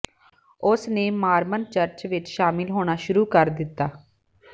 ਉਸ ਨੇ Mormon church ਵਿਚ ਸ਼ਾਮਲ ਹੋਣਾ ਸ਼ੁਰੂ ਕਰ ਦਿੱਤਾ